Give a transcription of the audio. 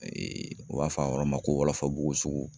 u b'a fɔ a yɔrɔ ma ko wɔlɔfɔbugu sugu